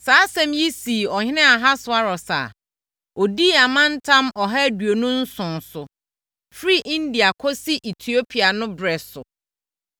Saa asɛm yi sii ɔhene Ahasweros a ɔdii amantam ɔha aduonu nson so, firi India kɔsi Etiopia no ɛberɛ so.